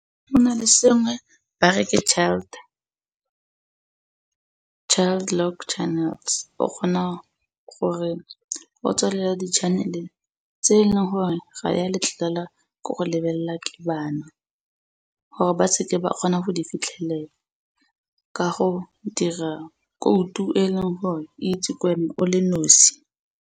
Go na le sengwe ba reke child, child lock channels o kgona gore o tswalele di-channel tse e le gore ga di a letlelela ko go lebelela ke bana gore ba seke ba kgona go di fitlhelela ka go dira khoutu e leng gore itse wena o le nosi.